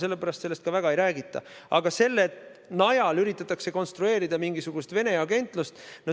Selle pärast sellest ka väga ei räägita, aga selle najal üritatakse konstrueerida mingisugust Vene agentlust.